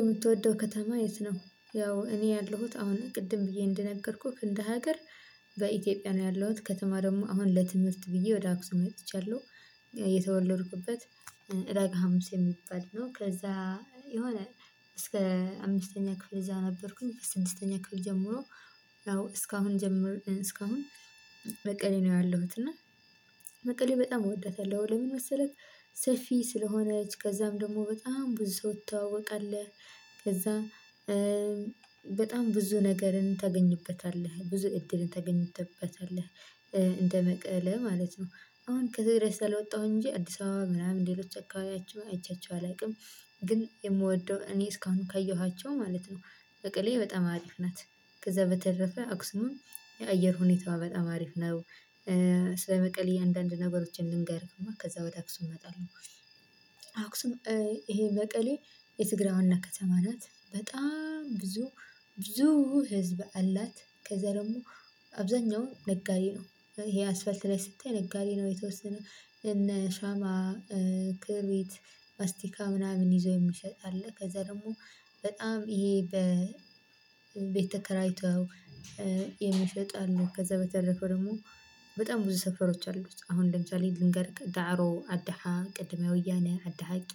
የምትወደው ከተማ የት? ነው ያው እኔ ያለሁት አሁን ቅድም ብዬ እንደነገርኩክ እንደ ሀገር በኢትዮጵያ ነው ያለሁት ከተማ ደግሞ አሁን ለትምህርት ብዬ ወደ አክሱም መጥቻለሁ። የተወለድኩበት ረገ ሀሙስ የሚባል ነው። ከዛ የሆነ እስከ አምስተኛ ክፍል እዛ ነበርኩኝ። ስድስተኛ ክፍል ከጀመሩ ያው እስካሁን ጀምሬ እስካሁን መቀሌ ነው ያለሁት። እና መቀሌ በጣም እወደታለሁ ለምን መሰለህ? ሰፊ ስለሆነች ከዛም ደግሞ በጣም ብዙ ሰው ትተዋወቃለህ። ከዛ በጣም ብዙ ነገርን ተገኝበታለህ ብዙ እድልን ተገኝተበታለህ እንደመቀለ ማለት ነው። አሁን ከዘሬ ስለወጣሁ እንጂ አዲስ አበባ ምናምን ሌሎች አካባቢያቸው አይቻቸው አላውቅም። ግን የምወደው እኔ እስካሁን ከየኋቸው ማለት ነው። በቀሌ አሪፍ ናት። ከዛ በተረፈ አክሱምም የአየር ሁኔታዋ በጣም አሪፍ ነው። ስለ መቀሌ አንዳንድ ነገሮችን ልንገርህማ ከዛ ወደ አክሱም እመጣለሁ። አክሱም ይሄ መቀሌ የትግራይ ዋና ከተማ ናት በጣም ብዙ ብዙ ህዝብ አላት። ከዛ ደግሞ አብዛኛው ነጋዴ ነው። ይሄ አስፋልት ላይ ስታይ ነጋዴ ነው የተወሰነ እነ ሻማ ክርቢት ማስቲካ ምናምን ይዞ የሚሸጥ አለ። ከዛ ደግሞ በጣም ይሄ በቤተከራይተው የሚሸጡ አሉ። ከዛ በተለፈው ደግሞ በጣም ብዙ ሰፈሮች አሉት። አሁን ለምሳሌ ልንገርክ ጋሮ አድሃ ቅድሚያ ወያኔ አድሃቂ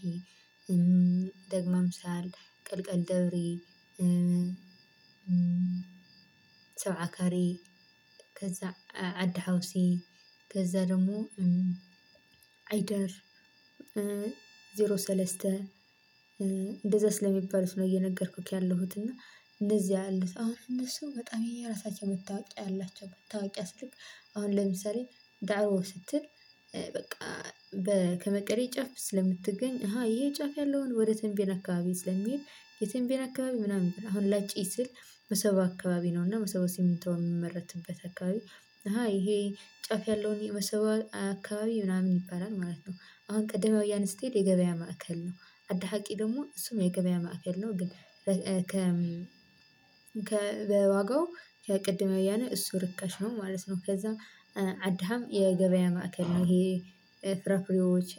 ደግመ ምሳል ቀልቀል ደብሪ ሰው አከሬ ከዛ አድ ሀውሴ ከዛ ደሞ አይደር ሰለስተህ እንደዛስ ለሚባሉት ነው። እየነገርኩክ ያለሁት እና እንደዚያ ያለሁት አሉት። አሁን እነሱ በጣም የየራሳቸው መታወቂያ ያላቸው መታወቂያ ስልክ አሁን ለምሳሌ ዳእዋ ስትል በ ከመቀሌ ጫፍ ስለምትገኝ አሃ ይሄ ጫፍ ያለውን ወደ ተንቤን አካባቢ ስለሚሄድ። የትም ቤት አካባቢ ምናምን አሁን ለጪ ስል መሰባ አካባቢ ነው። እሰበስ ሲሚቶ የሚመረትበት አካባቢ። ይሄ ጫፍ ያለውን የበሰወን አካባቢ ይባላል ማለት ነው። አሁን ቀደመ እያለ ስቴድ የገበያ ማዕከል ነው። አደሀቂ ደሞ እሱም የገበያ ማዕከል ነው ግን። ከ ዋጋው ከቅድመ እያነ እሱ ርካሽ ነው ማለት ነው ከዛም። አዳሀም የገበያ ማዕከል ነው። ይሄ ፍራፍሬዎች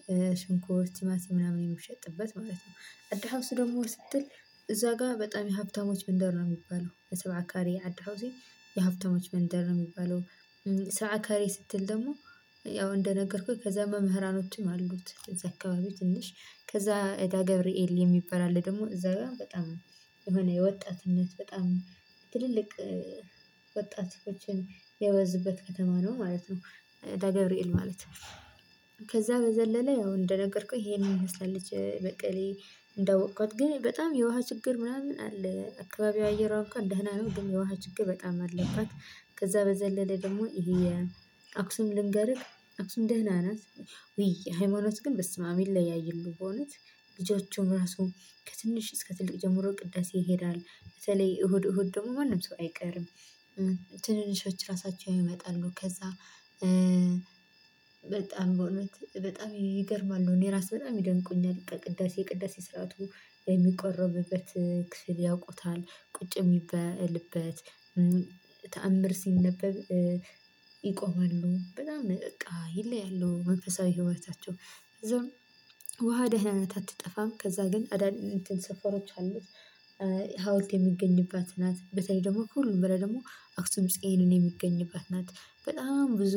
ሽንኩርት ቲማቲም ምናምን የሚሸጥበት ማለት ነው። አዳሃስ ደግሞ ስትል እዛ ጋር በጣም የሀብታሞች መንደር ነው የሚባለው በሰባካሪ አድሃውሴ የሀብታሞች መንደር ነው የሚባለው። ሰዓት ከሬ ስትል ደግሞ ያው እንደነገርኩክ ከዛ መምህራኖችም አሉት እዛ አካባቢ ትንሽ ከዛ እዳ ገብርኤል የሚባል አለ። ደግሞ እዛ ጋር በጣም የሆነ የወጣትነት በጣም ትልልቅ ወጣት ሰዎችን የበዙበት ከተማ ነው ማለት ነው። እዳ ገብርኤል ማለት ከዛ በዘለለ ያው እንደነገርኩህ ይሄን ትመሰላለች መቀሌ። እንዳወቅኳት ግን በጣም የውሃ ችግር ምናምን አለ አካባቢው አየር እንኳን ደህና ነው ግን የውሃ ችግር በጣም አለባት። ከዛ በዘለለ ደግሞ ይሄ አክሱምን ልንገርህ አክሱም ደህና ናት። ውይ ሃይማኖት ግን በስመ አብ በእውነት ልጆቹም ራሱ ከትንሽ እስከ ትልቅ ጀምሮ ቅዳሴ ይሄዳል በተለይ እሁድ እሁድ ደግሞ ማንም ሰው አይቀርም። ትንንሾች ራሳቸው ይመጣሉ ከዛ በጣም በእውነት በጣም ይገርማሉ እኔ እራሱ በጣም ይደንቁኛል። ቅዳሴ ስርዓቱ የሚቆረብበት ክፍል ያውቁታል ቁጭ የሚባልበት ተአምር ሲነበብ ይቆማሉ በጣም በቃ ይለያሉ መንፈሳዊ ህይወታቸው። ደህና ናት አትጠፋም ከዛ ግን ሰፈሮች አሉት። ሀውልት የሚገኝባት ናት በተለይ ደግሞ ከሁሉም በላይ ደግሞ አክሱም ጽዮን የሚገኝባት ናት። በጣም ብዙ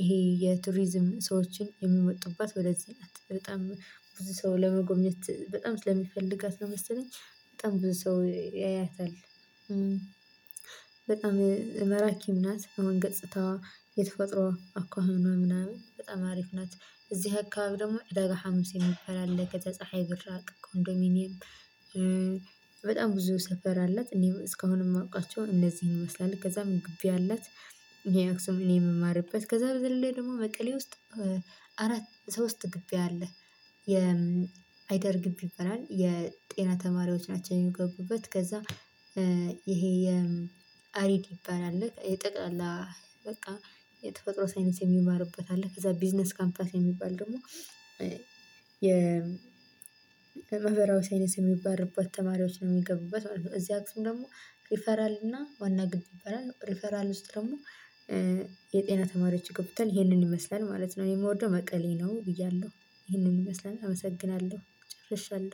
ይሄ የቱሪዝም ሰዎች የሚመጡባት ወደዚህ ናት በጣም ብዙ ሰው ለመጎብኘት በጣም ስለሚፈልጋት ነው መሰለኝ። በጣም ብዙ ሰው ያያታል። በጣም ማራኪም ናት አሁን ገፅታዋ የተፈጥሮ አኳኋኗ ምናምን በጣም አሪፍ ናት። እዚህ አካባቢ ደግሞ ዳጋ ሀምሴ የሚል አለ ፀሀይ ብራቅ ኮንዶሚኒየም። በጣም ብዙ ሰፈር አላት እኔም እስካሁን የማውቃቸው እነዚህ ነው ይመስላሉ ከዛም ግቢ አላት። አክሱም እኔ የምማርበት ከዛ በዘለለ ደግሞ መቀሌ ውስጥ ሶስት ግቢ አለ። አይደር ግቢ ይባላል የጤና ተማሪዎች ናቸው። የሚገቡበት ከዛ ይሄ አሪድ የሚባል አለ የጠቅላላ በቃ የተፈጥሮ ሳይንስ የሚማሩበት አለ። ከዛ ቢዝነስ ካምፓስ የሚባል ደግሞ የማህበራዊ ሳይነስ የሚማሩበት ተማሪዎች ነው የሚገቡበት ማለት ነው። እዚህ አክሱም ደግሞ ሪፈራል እና ዋና ጊቢ ይባላል ሪፈራል ውስጥ ደግሞ የጤና ተማሪዎች ይገቡበታል። ይሄንን ይመስላል ማለት ነው። እኔ የምወደው መቀሌ ነው ብያለሁ ይሄንን ይመስላል አመሰግናለሁ ጨርሻለሁ